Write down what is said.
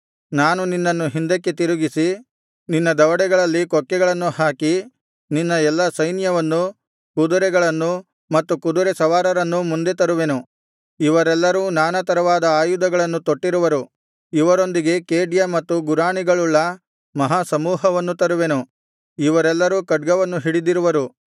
ನಾನು ನಿನ್ನನ್ನು ಹಿಂದಕ್ಕೆ ತಿರುಗಿಸಿ ನಿನ್ನ ದವಡೆಗಳಲ್ಲಿ ಕೊಕ್ಕೆಗಳನ್ನು ಹಾಕಿ ನಿನ್ನ ಎಲ್ಲಾ ಸೈನ್ಯವನ್ನೂ ಕುದರೆಗಳನ್ನೂ ಮತ್ತು ಕುದರೆ ಸವಾರರನ್ನೂ ಮುಂದೆ ತರುವೆನು ಇವರೆಲ್ಲರೂ ನಾನಾ ತರವಾದ ಆಯುಧಗಳನ್ನು ತೊಟ್ಟಿರುವರು ಇವರೊಂದಿಗೆ ಖೇಡ್ಯ ಮತ್ತು ಗುರಾಣಿಗಳುಳ್ಳ ಮಹಾಸಮೂಹವನ್ನು ತರುವೆನು ಇವರೆಲ್ಲರೂ ಖಡ್ಗವನ್ನು ಹಿಡಿದಿರುವರು